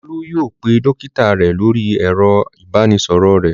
Olú yóò pe dọ́kítá rẹ̀ lórí ẹ̀rọ-ìbánisọ̀rọ̀ rẹ̀.